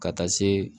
Ka taa se